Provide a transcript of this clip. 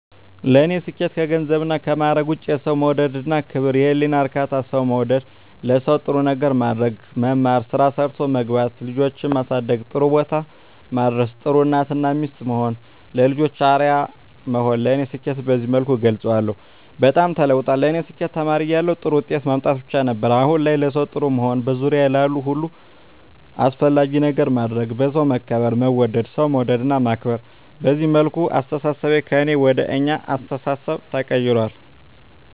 ለኔ ስኬት ከገንዘብና ከማረግ ውጭ፦ የሠው መውደድ እና ክብር፤ የህሊና እርካታ፤ ሠው መውደድ፤ ለሠው ጥሩ ነገር ማድረግ፤ መማር፤ ስራ ሠርቶ መግባት፤ ልጆቼን ማሠደግ ጥሩቦታ ማድረስ፤ ጥሩ እናት እና ሚስት መሆን፤ ለልጆቼ አርያ መሆን ለኔ ስኬትን በዚህ መልኩ እገልፀዋለሁ። በጣም ተለውጧል ለኔ ስኬት ተማሪ እያለሁ ጥሩ ውጤት ማምጣት ብቻ ነበር። አሁን ላይ ለሠው ጥሩ መሆን፤ በዙሪያዬ ላሉ ሁሉ አስፈላጊ ነገር ማድረግ፤ በሠው መከበር መወደድ፤ ሠው መውደድ እና ማክበር፤ በዚህ መልኩ አስተሣሠቤ ከእኔ ወደ አኛ አስተሣሠቤ ተቀይራል።